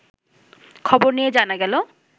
খবর নিয়ে জানা গেল